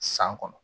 San kɔnɔ